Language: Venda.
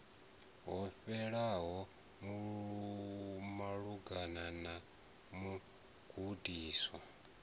ho fhelelaho malugana na mugudiswa